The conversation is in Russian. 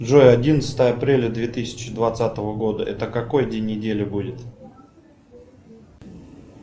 джой одиннадцатое апреля две тысячи двадцатого года это какой день недели будет